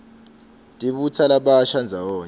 tibutsa labasha ndzawonye